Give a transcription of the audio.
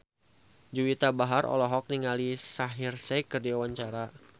Juwita Bahar olohok ningali Shaheer Sheikh keur diwawancara